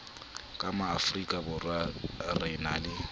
ka maafrikaborwa re na le